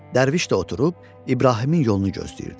Dərviş də oturub İbrahimin yolunu gözləyirdi.